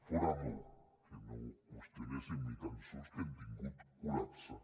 fora bo que no qüestionéssim ni tan sols que hem tingut col·lapse